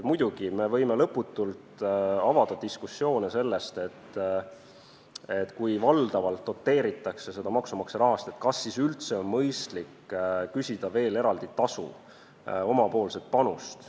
Muidugi me võime lõputult avada diskussioone selle üle, et kui valdavalt doteeritakse seda maksumaksja rahast, siis kas on üldse mõistlik küsida veel eraldi tasu, oma panust.